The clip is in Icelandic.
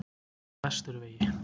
Vesturvegi